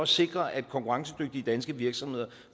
sikre at konkurrencedygtige danske virksomheder